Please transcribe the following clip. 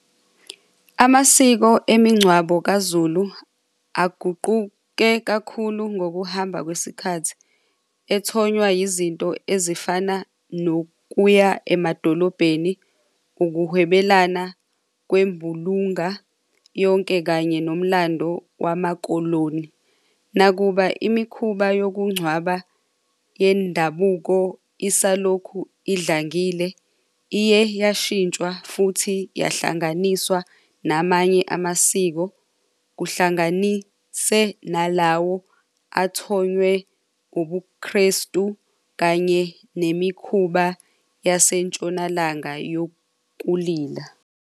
Amasiko emingcwabo kaZulu aguquke kakhulu ngokuhamba kwesikhathi ethonywa yizinto ezifana nokuya emadolobheni, ukuhwebelana kwembulunga yonke kanye nomlando wamakoloni. Nakuba imikhuba yokungcwaba yendabuko isalokhu idlangile iye yashintshwa futhi yahlanganiswa namanye amasiko, kuhlanganise nalawo athonywe ubuKrestu kanye nemikhuba yasentshonalanga yokulila.